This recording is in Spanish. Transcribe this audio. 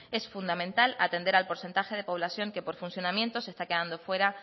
es fundamental atender al porcentaje de población que por funcionamiento se está quedando fuera